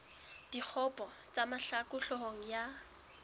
dikgopo tsa mahlaku hloohong ya